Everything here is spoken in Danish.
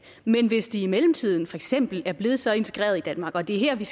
men hvis de i mellemtiden for eksempel er blevet så integreret i danmark og det er her vi